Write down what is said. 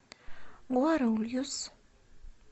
гуарульюс